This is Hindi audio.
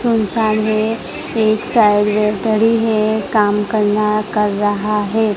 सुनसान है एक साइड में है काम करना कर रहा है।